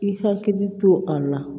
I hakili to a la